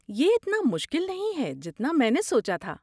یہ اتنا مشکل نہیں ہے جتنا میں نے سوچا تھا۔